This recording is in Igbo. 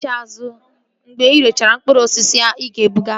Laghachi azụ mgbe irechara mkpụrụ osisi ahụ ị ga-ebughari!